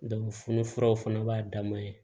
fununfuraw fana b'a dan ma ye